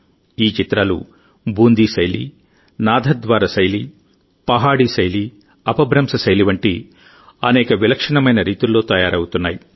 ఈ చిత్రాలు బూందీ శైలి నాథద్వార శైలి పహాడీ శైలి అపభ్రంశ శైలి వంటి అనేక విలక్షణమైన రీతుల్లో తయారు అవుతున్నాయి